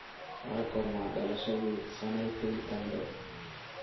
waa goorma dhalashadii sanaipei tande